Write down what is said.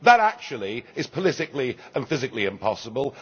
That, actually, is politically and physically impossible.